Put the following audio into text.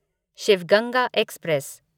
Shiv Ganga express